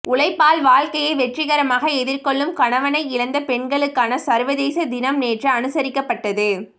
உழைப்பால் வாழ்க்கையை வெற்றிகரமாக எதிர்கொள்ளும் கணவனை இழந்த பெண்களுக்கான சர்வதேச தினம் நேற்று அனுசரிக்கப்பட்டது